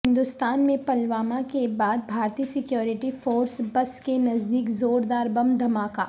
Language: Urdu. ہندوستان میں پلوامہ کے بعد بھارتی سکیورٹی فورس بس کے نزدیک زوردار بم دھماکہ